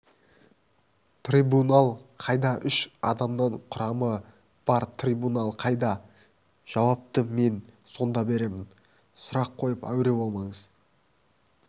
трибунал қайда үш адамнан құрамы бар трибунал қайда жауапты мен сонда беремін сұрақ қойып әуре болмаңыз